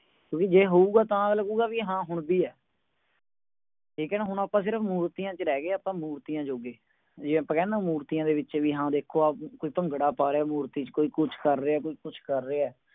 ਕਿਉਂਕਿ ਜੇ ਹੋਊਗਾ ਤਾਂ ਅਗਲਾ ਕਹੂੰਗਾ ਹਾਂ ਹੁਣ ਵੀ ਹੈ ਠੀਕ ਹੈ ਨਾ ਹੁਣ ਆਪਾਂ ਮੂਰਤੀਆਂ ਦੇ ਵਿੱਚ ਰਹਿ ਗਏ ਹਾਂ ਆਪਾਂ ਮੂਰਤੀਆਂ ਜੋਗੇ ਜੇ ਆਪਾਂ ਕਹਿੰਦੇ ਹਾਂ ਕਿ ਮੂਰਤੀਆਂ ਦੇ ਵਿੱਚ ਹਾਂ ਦੇਖੋ ਕੋਈ ਭੰਗੜਾ ਪਾ ਰਿਹਾ ਹੈ ਮੂਰਤੀ ਦੇ ਵਿੱਚ ਕੋਈ ਕੁਝ ਕਰ ਰਿਹਾ ਹੈ ਤੇ ਕੋਈ ਕੁਝ ਕਰ ਰਿਹਾ ਹੈ